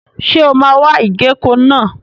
Ṣé o máa wa ìgéko náà?